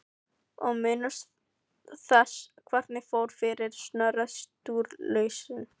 Og minnumst þess hvernig fór fyrir Snorra Sturlusyni!